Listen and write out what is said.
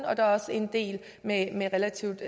og der er også en del med med relativt